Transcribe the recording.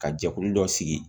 Ka jɛkulu dɔ sigi